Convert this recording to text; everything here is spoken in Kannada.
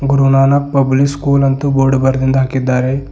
ಗುರು ನಾನಕ್ ಪಬ್ಲಿಕ್ ಸ್ಕೂಲ್ ಅಂತ ಬೋರ್ಡ್ ಬರೆದಿಂದ್ ಹಾಕಿದ್ದಾರೆ.